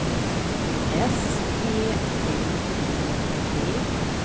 S E V E D